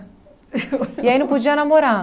E aí, não podia namorar?